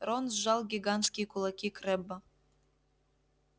рон сжал гигантские кулаки крэбба